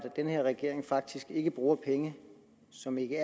den her regering faktisk ikke bruger penge som ikke